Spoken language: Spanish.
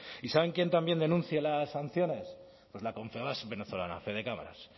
y saben quién también denuncia las sanciones pues la confebask venezolana fedecámaras